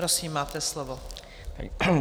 Prosím, máte slovo.